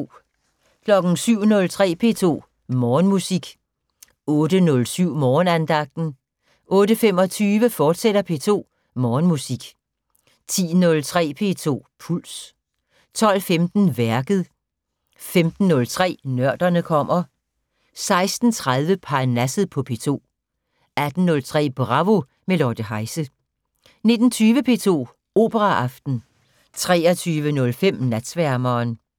07:03: P2 Morgenmusik 08:07: Morgenandagten 08:25: P2 Morgenmusik, fortsat 10:03: P2 Puls 12:15: Værket 15:03: Nørderne kommer 16:30: Parnasset på P2 18:03: Bravo - med Lotte Heise 19:20: P2 Operaaften 23:05: Natsværmeren